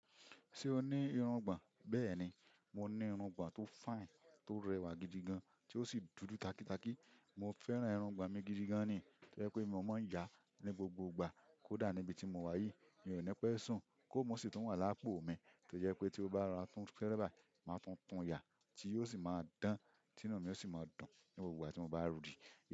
Ṣé o ní irungbọ̀n? Bẹ́ẹ̀ni, mo ní irungbọ̀n tó fine, tó rẹwà gidi gan, tí ó sì dúdú takitaki. Mo fẹ́ràn irungbọ̀n mi gidi gan ni, tó jẹ́ pé mi ò mọ̀ yá ní gbogbo ìgbà, kódà níbi tí mo wà yìí, mi ò ní pẹ́ sùn kó mo sì tún wà lápò mi. Tó jẹ́ pé tí ó bá ra sun kẹ́ré bàyi, máa tun tun yá tí yóò sì máa dán, tí inú mi yóò sì máa dùn ní gbogbo ìgbà tí mo bá ri.